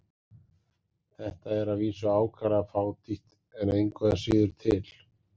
Þetta er að vísu ákaflega fátítt en engu að síður til.